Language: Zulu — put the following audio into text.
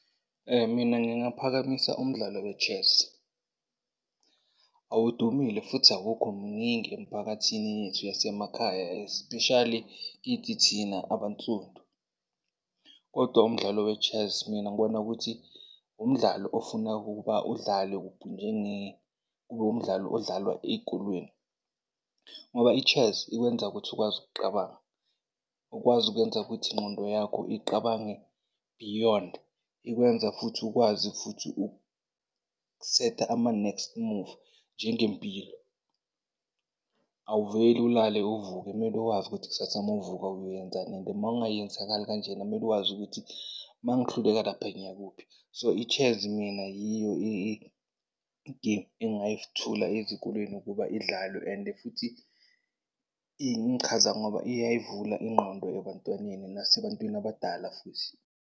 Mina ngingaphakamisa umdlalo we-chess. Awudumile futhi awukho mningi emphakathini yethu yasemakhaya especially kithi thina abansundu. Kodwa umdlalo we-chess mina ngibona ukuthi umdlalo ofuna ukuba udlalwe, kuphi, kube umdlalo owawudlalwa ey'kolweni. Ngoba i-chess ikwenza ukuthi ukwazi ukuqabanga, ukwazi ukuyenza ukuthi ingqondo yakho iqabange beyond, ikwenza ukuthi ukwazi futhi uku-set-a ama-next move nje ngempilo. Awuveli ulale uvuke, kumele wazi ukuthi kusasa mawuvuka uyoyenzani and mawungayenzakali kanjena kumele wazi ukuthi mangihluleka lapha ngiyakuphi. So, i-chess mina yiyo i-game engigayithula ezikolweni ukuba idlalwe. And futhi ingichaza ngoba iyayivula ingqondo ebantwaneni nasebantwini abadala futhi.